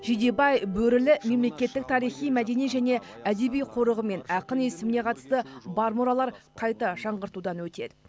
жидебай бөрілі мемлекеттік тарихи мәдени және әдеби қорығы мен ақын есіміне қатысты бар мұралар қайта жаңғыртудан өтеді